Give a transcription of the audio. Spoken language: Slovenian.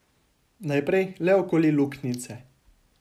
Najprej le okoli luknjice ...